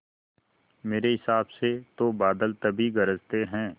मेरे हिसाब से तो बादल तभी गरजते हैं